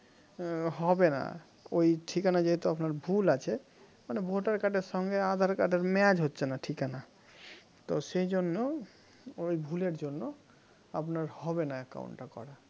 হবে না ওই ঠিকানা যেহেতু আপনার ভুল আছে মানে voter card এর সঙ্গে aadhaar card এর match হচ্ছে না ঠিকানা তো সেই জন্য ওই ভুলের জন্য আপনার হবে না account টা করা